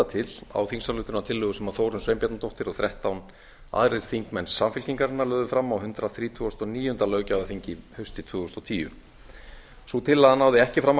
til á þingsályktunartillögu sem þórunn sveinbjarnardóttir og þrettán aðrir þingmenn samfylkingarinnar lögðu fram á hundrað þrítugasta og níunda löggjafarþingi haustið tvö þúsund og tíu sú tillaga náði ekki fram